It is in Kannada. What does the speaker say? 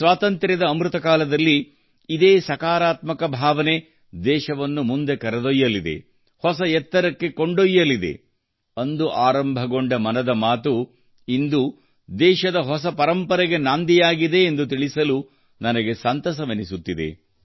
ಸ್ವಾತಂತ್ರ್ಯದ ಅಮೃತ ಕಾಲದಲ್ಲಿ ಇದೇ ಸಕಾರಾತ್ಮಕ ಭಾವನೆ ದೇಶವನ್ನು ಮುಂದೆ ಕರೆದೊಯ್ಯಲಿದೆ ಹೊಸ ಎತ್ತರಕ್ಕೆ ಕೊಂಡೊಯ್ಯಲಿದೆ ಮತ್ತು ಅಂದು ಆರಂಭಗೊಂಡ ಮನದ ಮಾತು ಇಂದು ದೇಶದ ಹೊಸ ಪರಂಪರೆಗೆ ನಾಂದಿಯಾಗಿದೆ ಎಂದು ತಿಳಿದು ನನಗೆ ಸಂತಸವೆನಿಸುತ್ತಿದೆ